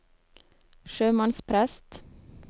sjømannsprest